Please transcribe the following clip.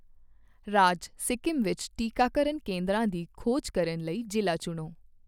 ਰਾਜ ਸਿੱਕਮ ਵਿੱਚ ਟੀਕਾਕਰਨ ਕੇਂਦਰਾਂ ਦੀ ਖੋਜ ਕਰਨ ਲਈ ਜ਼ਿਲ੍ਹਾ ਚੁਣੋ।